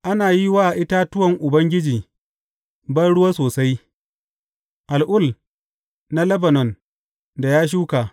Ana yi wa itatuwan Ubangiji banruwa sosai, al’ul na Lebanon da ya shuka.